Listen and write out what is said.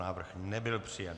Návrh nebyl přijat.